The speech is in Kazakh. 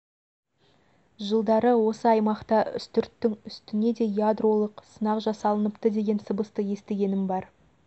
жылдары осы аймақта үстірттің үсітне де ядролық сынақ жасалыныпты деген сыбысты естігенім бар